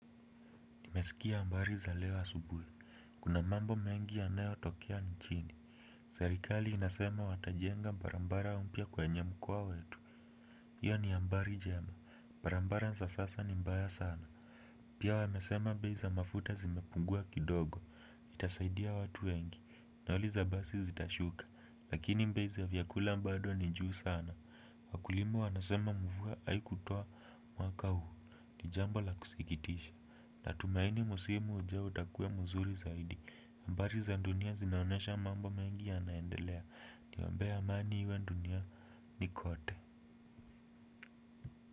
Nimesikia habari za leo asubuhi. Kuna mambo mengi yanayo tokea nchini. Serikali inasema watajenga barabara mpya kwenye mkoa wetu. Hiyo ni habari njema. Barabara za sasa ni mbaya sana. Pia wamesema bei za mafuta zimepungua kidogo. Itasaidia watu wengi. Nauli za basi zitashuka. Lakini bei za vyakula bado ni juu sana. Wakulima wanasema mvua haikutoa mwaka huu. Ni jambo la kusikitisha, natumaini msimu ujao utakua mzuri zaidi habari za dunia zinaonyesha mambo mengi yanaendelea. Niombee amani iwe duniani kote.